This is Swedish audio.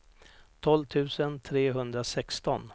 tolv tusen trehundrasexton